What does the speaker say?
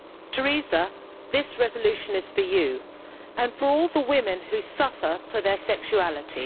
Teresa, this resolution is for you, and for all the women who suffer for their sexuality.